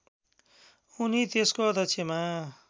उनी त्यसको अध्यक्षमा